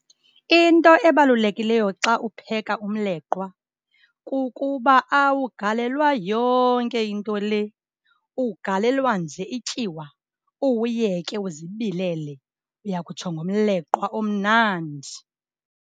Into ebalulekileyo xa upheka umleqwa kukuba awugalelwa yonke into le, ugalelwa nje ityiwa uwuyeke uzibilele. Uya kutsho ngomleqwa omnandi.